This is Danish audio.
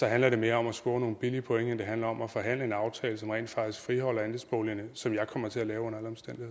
handler mere om at score nogle billige point end det handler om at forhandle en aftale som rent faktisk friholder andelsboligerne og som jeg kommer til at lave under